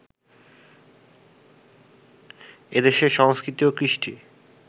এ দেশের সংস্কৃতি ও কৃষ্টি